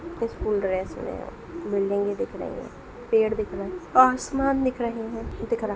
school dress में बिल्डिंगे दिख रही हैं पेड़ दिख रहे हैं आसमान दिख रही हैं दिख रहा --